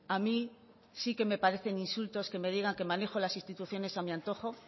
a mí sí que me parecen insultos que me diga que manejo las instituciones a mi antojo